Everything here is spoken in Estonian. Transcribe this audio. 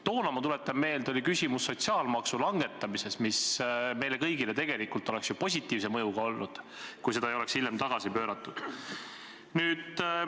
Toona, ma tuletan meelde, oli küsimus sotsiaalmaksu langetamises, mis oleks meile kõigile tegelikult olnud positiivse mõjuga, kui seda ei oleks hiljem tagasi pööratud.